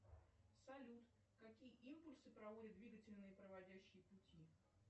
салют какие импульсы проводят двигательные проводящие пути